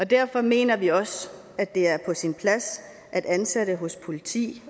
derfor mener vi også at det er på sin plads at ansatte hos politiet